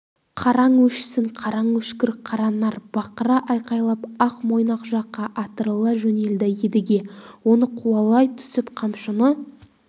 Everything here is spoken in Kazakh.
қараң өшсін қараң өшкір қаранар бақыра айқайлап ақ-мойнақ жаққа атырыла жөнелді едіге оны қуалай түсіп қамшыны